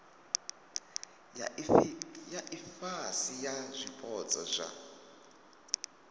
ya ifhasi ya zwipotso zwa